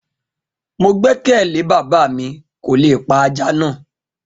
Mo gbẹkẹle bàbá mi kò lè pa aja na